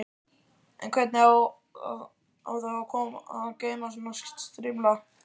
En hvernig á þá að geyma svona strimla?